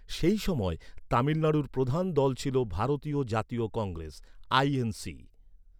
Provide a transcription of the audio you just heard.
সেই সময় তামিলনাড়ুর প্রধান দল ছিল ভারতীয় জাতীয় কংগ্রেস আইএনসি।